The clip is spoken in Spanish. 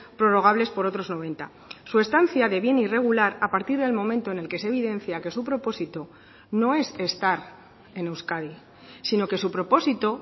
prorrogables por otros noventa su estancia de bien irregular a partir del momento en el que se evidencia que su propósito no es estar en euskadi sino que su propósito